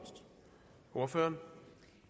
på mener for